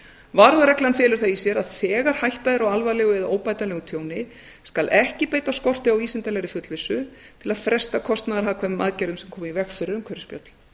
varúðarreglan felur það í sér að þegar hætta er á alvarlegu eða óbætanlegu tjóni skal ekki beita skorti á vísindalegri fullvissu til að fresta kostnaðarhagkvæmum aðgerðum sem koma í veg fyrir umhverfisspjöll